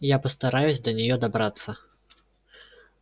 я постараюсь до неё добраться